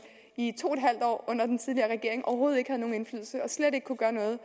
i to en halv år under den tidligere regering overhovedet ikke havde nogen indflydelse og slet ikke kunne gøre noget